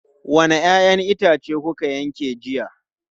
Wanne 'ya'yan itace kuka yanke jiya?